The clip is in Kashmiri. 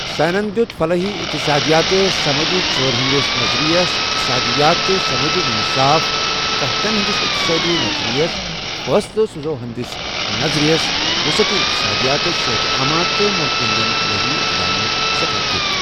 سینن دِیوُت فلٲحی اِقتصدِیاتس ، سمٲجی ژٲر ہندِس نظرِیس ، اِقتصٲدِیات تہٕ سمٲجی اِنصاف ، قحتن ہندِس اِقتصٲدی نظرِیس ، فۭصلہٕ سۭزی حندِس نظرِیس ، وُصعتی اِقتصٲدِیاتس ، صحت عامہ تہٕ مُلكن ہندین فلٲحی اِقداماتن سہٹھاہ دِیوُت ۔